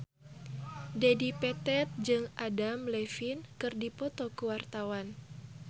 Dedi Petet jeung Adam Levine keur dipoto ku wartawan